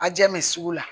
A jɛn bɛ sugu la